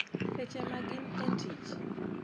Seche magin e tich.